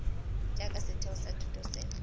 jaaka setheo sa thuto se